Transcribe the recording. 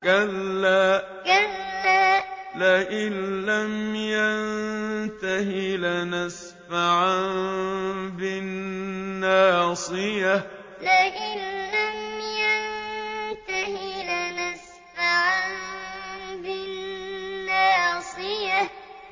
كَلَّا لَئِن لَّمْ يَنتَهِ لَنَسْفَعًا بِالنَّاصِيَةِ كَلَّا لَئِن لَّمْ يَنتَهِ لَنَسْفَعًا بِالنَّاصِيَةِ